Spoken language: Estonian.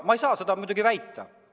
Ma ei saa seda muidugi väita.